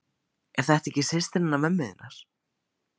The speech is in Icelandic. Er þetta ekki systir hennar mömmu þinnar?